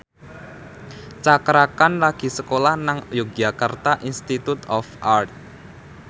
Cakra Khan lagi sekolah nang Yogyakarta Institute of Art